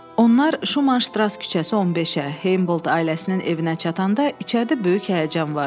Onlar Şumanştras küçəsi 15-ə, Heynbolt ailəsinin evinə çatanda içəridə böyük həyəcan vardı.